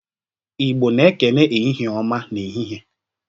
Igbo na-ekene, "Ehihie ọma!" n'ehihie.